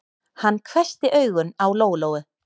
Hann hvessti augun á Lóu-Lóu.